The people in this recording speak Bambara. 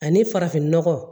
Ani farafinnɔgɔ